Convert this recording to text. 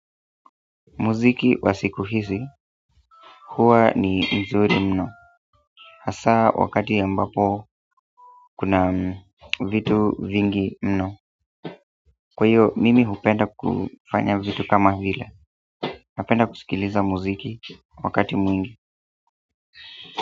Muziki wa siku hizi hua ni mzuri mno hasa wakati ambapo kuna vitu vingi mno. Kway hiyo mimi hupenda kufanya vitu kama vile. Napenda kusikiliza muziki wakati mwingi.